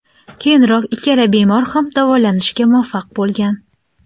Keyinroq ikkala bemor ham davolanishga muvaffaq bo‘lgan.